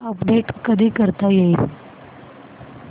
update कधी करता येईल